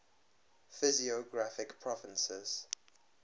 physiographic provinces